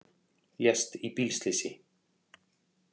Lést í bílslysi